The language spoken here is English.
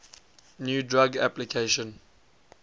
new drug application